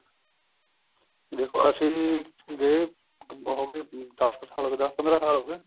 ਦੇਖੋ ਅਸੀਂ ਜੀ ਗਏ ਅਹ ਹੋਗੇ ਦਸ ਕੁ ਸਲ ਹੋਗੇ ਦਸ ਪੰਦਰਾ ਸਾਲ ਹੋਗੇ